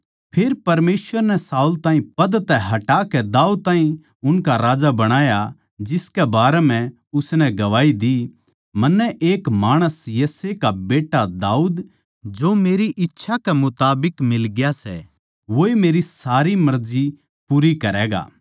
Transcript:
फेर परमेसवर नै शाऊल ताहीं पद तै हटाकै दाऊद ताहीं उनका राजा बणाया जिसकै बारै म्ह उसनै गवाही दी मन्नै एक माणस यिशै का बेट्टा दाऊद जो मेरी इच्छा कै मुताबिक मिलग्या सै वोए मेरी सारी मर्जी पूरी करैगा